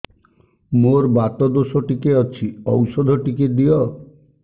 ମୋର୍ ବାତ ଦୋଷ ଟିକେ ଅଛି ଔଷଧ ଟିକେ ଦିଅ